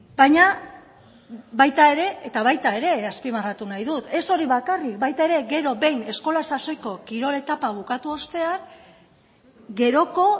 baina baita ere eta baita ere azpimarratu nahi dut ez hori bakarrik baita ere gero behin eskola sasoiko kirol etapa bukatu ostean geroko